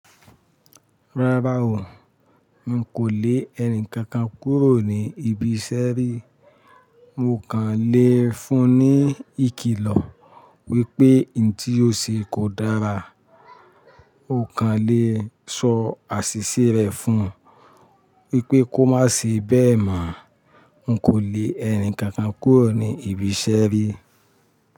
Rárá o, n kò le ẹni kankan kúrò ní ibi iṣẹ́ rí. Mo kàn le fún-un ní ìkìlọ̀ wípé in tí ó ṣe kò dára. Mo kàn le sọ àṣìṣe rẹ̀ fún un wípé kó má se bẹ́ẹ̀ mọ. N kò le ẹni kankan kúrò ní ibi iṣẹ́ rí.